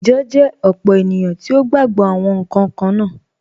Ijọ jẹ opó ènìyàn tí o gba gbọ̀ awọn nkan kanna.